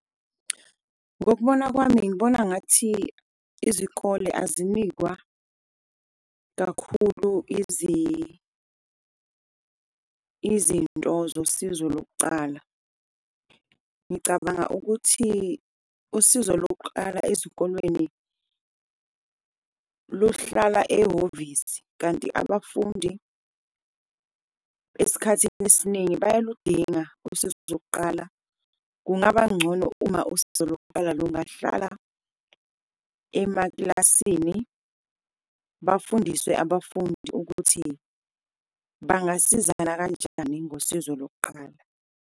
Ngokubona kwami ngibona ngathi izikole azinikwa kakhulu izinto zosizo lokucala. Ngicabanga ukuthi usizo lokuqala ezikolweni lukuhlala ehhovisi, kanti abafundi esikhathini esiningi bayaludinga usizo lokuqala. Kungaba ngcono uma usizo lokuqala kungahlala emakilasini, bafundiswe abafundi ukuthi bangasizana kanjani ngosizo lokuqala.